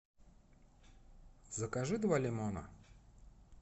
закажи два лимона